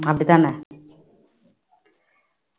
அப்படித்தானே